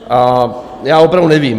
A já opravdu nevím.